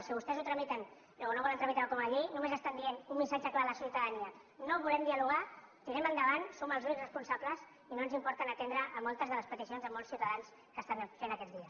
si vostès no volen tramitar ho com a llei només estan dient un missatge clar a la ciutadania no volem dialogar tirem endavant som els únics responsables i no ens importa no atendre moltes de les peticions de molts ciutadans que estan fent aquests dies